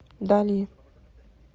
дали